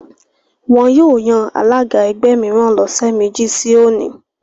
Wọ́n yóò yan alága ẹgbẹ́ mìíràn lọ́sẹ̀ méjì sí òní